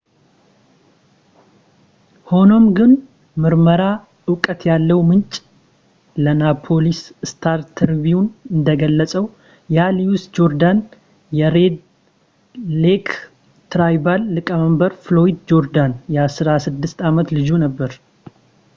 ሆኖም ግን ምርመራ እውቀት ያለው ምንጭ ለናፖሊስ ስታር-ትሪቢውን እንደገለፀው ያ ሉዊስ ጆርዳን የሬድ ሌክ ትራይባል ሊቀመንበር ፍሎያድ ጆርዳን የ16 ዓመት ልጁ ነበር